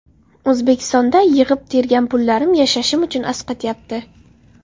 O‘zbekistonda yig‘ib-tergan pullarim yashashim uchun asqatyapti.